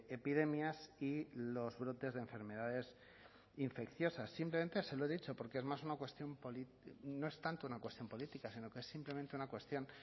epidemias y los brotes de enfermedades infecciosas simplemente se lo he dicho porque es más una cuestión no es tanto una cuestión política sino que es simplemente una cuestión